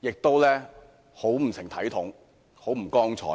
亦很不成體統和光彩。